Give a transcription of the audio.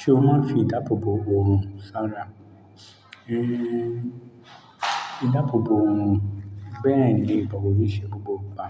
Ṣé wọ́n máa ń fi ìdáàbò bò òòrùn sára? Éh, ìdáàbò bò òòrùn bẹ́ẹ̀ ni but kò kí n ṣe gbogbo ìgbà.